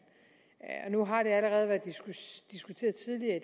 nu har det allerede været diskuteret tidligere i